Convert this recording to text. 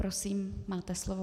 Prosím, máte slovo.